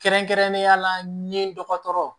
Kɛrɛnkɛrɛnnenya la n ye dɔgɔtɔrɔ